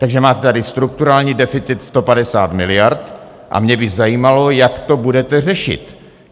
Takže máte tady strukturální deficit 150 miliard a mě by zajímalo, jak to budete řešit.